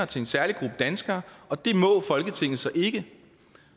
til en særlig gruppe danskere og det må folketinget så ikke